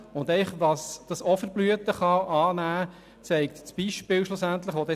Welche Blüten dies auch noch treiben kann, zeigt das folgende Beispiel: